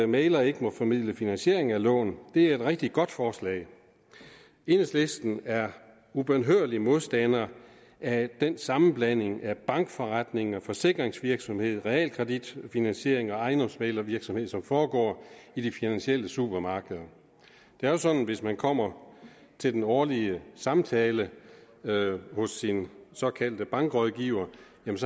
mægler ikke må formidle finansiering af lån er et rigtig godt forslag enhedslisten er ubønhørlig modstander af den sammenblanding af bankforretning og forsikringsvirksomhed realkreditfinansiering og ejendomsmæglervirksomhed som foregår i de finansielle supermarkeder det er jo sådan at hvis man kommer til den årlige samtale hos sin såkaldte bankrådgiver